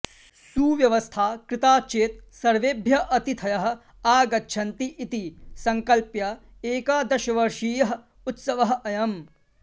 सुव्यवस्था कृता चेत् सर्वेभ्यः अतिथयः आगच्छन्ति इति सङ्कल्प्य एकादशवर्षीयः उत्सवः अयम्